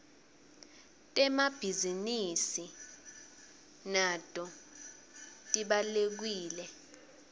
temabhizi nidi nato tibawlekile